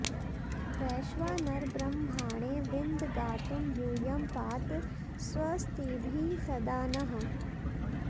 वैश्वानर ब्रह्मणे विन्द गातुं यूयं पात स्वस्तिभिः सदा नः